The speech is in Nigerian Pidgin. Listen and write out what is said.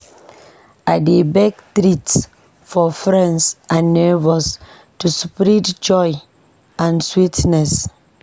I dey bake treats for friends and neighbors to spread joy and sweetness.